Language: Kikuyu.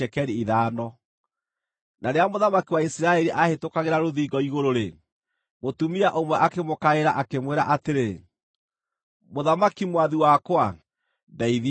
Na rĩrĩa mũthamaki wa Isiraeli aahĩtũkagĩra rũthingo igũrũ-rĩ, mũtumia ũmwe akĩmũkaĩra, akĩmwĩra atĩrĩ, “Mũthamaki, mwathi wakwa, ndeithia!”